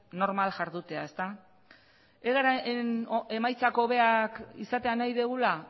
normal jardutea ezta egaren emaitza hobeak izatea nahi dugula